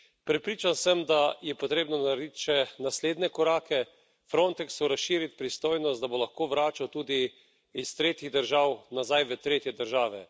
Prepričan sem, da je potrebno narediti še naslednje korake Frontexu razširiti pristojnost, da bo lahko vračal tudi iz tretjih držav nazaj v tretje države.